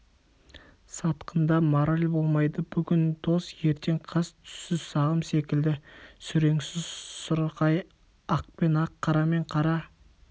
сатқында мораль болмайды бүгін дос ертең қас түссіз сағым секілді сүреңсіз сұрқай ақпен ақ қарамен қара